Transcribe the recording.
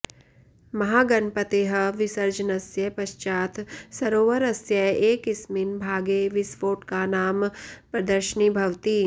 महागणपतेः विसर्जनस्य पश्चात् सरोवरस्य एकस्मिन् भागे विस्फोटकानां प्रदर्शिनी भवति